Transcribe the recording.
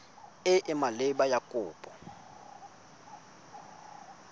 e e maleba ya kopo